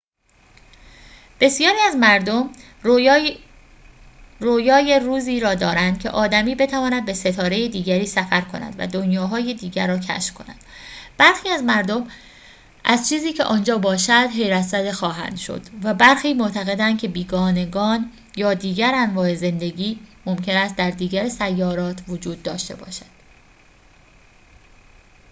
بسیاری از مردم رویای روزی را دارند که آدمی بتواند به ستاره دیگری سفر کند و دنیاهای دیگر را کشف کند برخی از مردم از چیزی که آنجا باشد حیرت‌زده خواهند شد و برخی معتقدند که بیگانگان یا دیگر انواع زندگی ممکن است در دیگر سیارات وجود داشته باشد